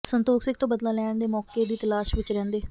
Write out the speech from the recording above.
ਸੰਤੋਖ ਸਿੰਘ ਤੋਂ ਬਦਲਾ ਲੈਣ ਦੇ ਮੌਕੇ ਦੀ ਤਲਾਸ਼ ਵਿੱਚ ਰਹਿੰਦੇ